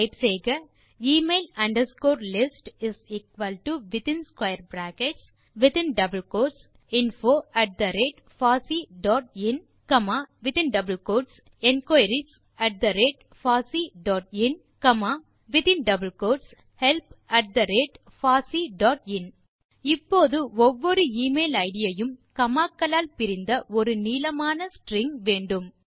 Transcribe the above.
type செய்க email underscore list is equal to within square brackets double quotes info at the rate pasi dot in enquiries at the rate pasi dot in பின் மீண்டும் comma in double quotes help at the rate pasi dot in இப்போது ஒவ்வொரு email ID யும் comma க்களால் பிரிந்த ஒரு நீளமான string வேண்டும்